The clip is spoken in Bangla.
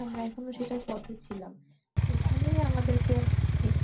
এখনো সেটার পথে ছিলাম। এখানেই আমাদেরকে